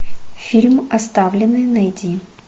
фильм оставленный найди